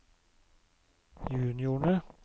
juniorene